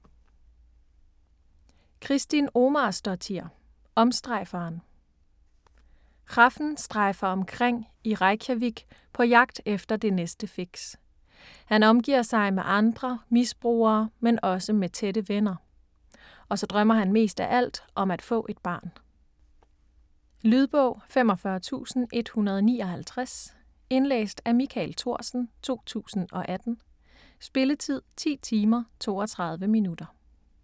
Kristín Ómarsdóttir: Omstrejferen Hrafn strejfer omkring i Reykjavik på jagt efter det næste fix. Han omgiver sig med andre misbrugere men også med tætte venner. Og så drømmer han mest af alt om at få et barn. Lydbog 45159 Indlæst af Michael Thorsen, 2018. Spilletid: 10 timer, 32 minutter.